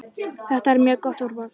Þetta er mjög gott úrval.